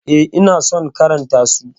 Eh, ina son karanta su.